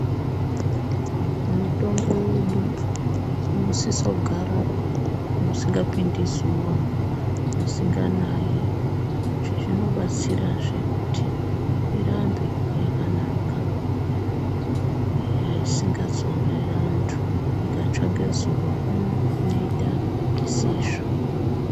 Mutombo yedu inosiso kugara mwusingapindi zuwa mwusinganayi izvi zvinobatsirazve kuti irambe yakanaka isingazourayi antu ikatsva ngezuva inoita zvisizvo .